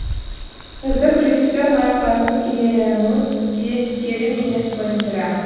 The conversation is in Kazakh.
үздік режиссер марапатын иеленуі де тегін емес қой сірә